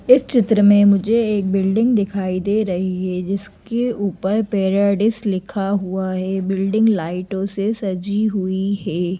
इस चित्र में मुझे एक बिल्डिंग दिखाई दे रही है जिसके ऊपर पैराडिस लिखा हुआ है बिल्डिंग लाइटों से सजी हुई है।